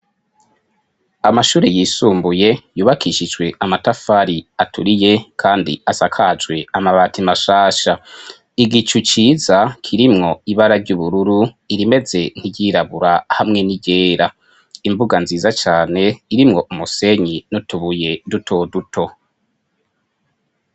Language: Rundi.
Amashure yisumbuye yubakishijwe amatafari aturiye kandi asakajwe amabati mashasha. Igicu ciza kirimwo ibara ry'ubururu irimeze nkiryirabura hamwe n'iryera imbuga nziza cane irimwo umusenyi n'utubuye dutoduto.